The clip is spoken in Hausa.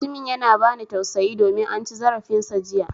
Mutumin yana ba ni tausayi domin an ci zarafin sa jiya.